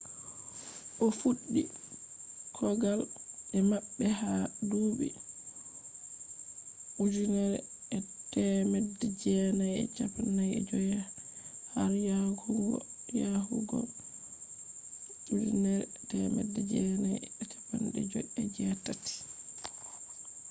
o fuddi kogal be mabbe ha dubi 1945 har yahugo 1958